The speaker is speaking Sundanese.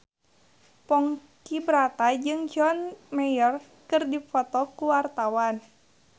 Ponky Brata jeung John Mayer keur dipoto ku wartawan